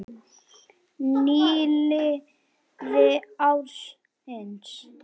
Nýliði ársins